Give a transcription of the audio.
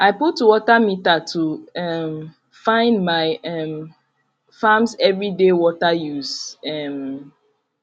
i put water meter to um find my um farms every dey water used um